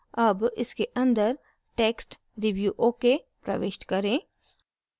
अब इसके अंदर text review okay प्रविष्ट करें